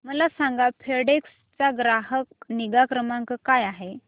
मला सांगा फेडेक्स चा ग्राहक निगा क्रमांक काय आहे